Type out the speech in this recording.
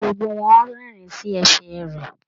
Gbogbo wọn rẹ́rín sí ẹ̀fẹ̀ rẹ.